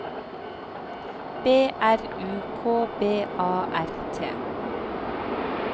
B R U K B A R T